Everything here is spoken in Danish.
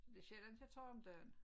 Så det sjældent jeg tager om dagen